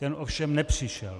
Ten ovšem nepřišel.